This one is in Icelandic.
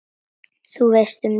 Þú veist, um lífið?